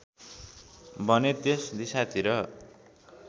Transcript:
भने त्यस दिशातिर